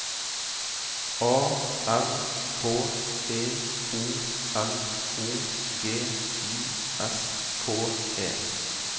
A R K E O L O G I S K E